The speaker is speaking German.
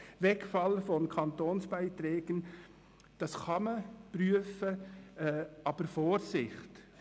Den Wegfall von Kantonsbeiträgen kann man prüfen, aber Vorsicht: